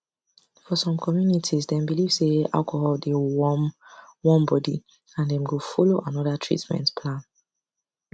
for some communities dem believe say alcohol dey warm warm body and dem go follow another treatment plan